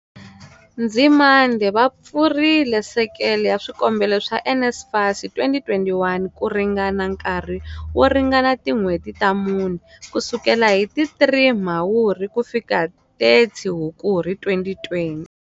Nzimande, va pfurile sekele ya swikombelo swa NSFAS 2021 kuringana nkarhi wo ringana tin'hweti ta mune, kusukela hi ti 3 Mhawuri kufika 30 Hukuri 2020.